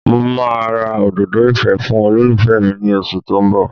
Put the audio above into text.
Mo máa ra òdòdó ìfẹ́ fún olólùfẹ́ mi ní oṣù tó ń bọ̀